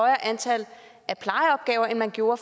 antal plejeopgaver end man gjorde